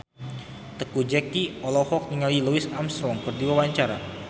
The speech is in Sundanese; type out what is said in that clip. Teuku Zacky olohok ningali Louis Armstrong keur diwawancara